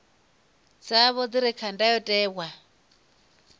dzavho dzi re kha ndayotewa